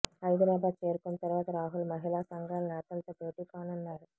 హైదరాబాద్ చేరుకున్న తర్వాత రాహుల్ మహిళా సంఘాల నేతలతో భేటీ కానున్నారు